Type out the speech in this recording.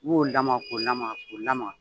U b'o lamaa k'o lamaa k'o lamaa.